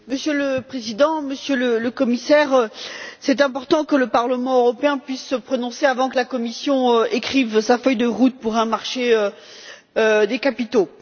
Monsieur le Président, Monsieur le Commissaire, c'est important que le Parlement européen puisse se prononcer avant que la Commission n'écrive sa feuille de route pour un marché des capitaux.